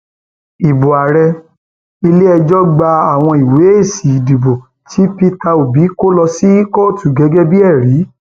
ibo ààrẹ ilẹẹjọ gba àwọn ìwé èsì ìdìbò tí pété obi kọ lọ sí kóòtù gẹgẹ bíi ẹrí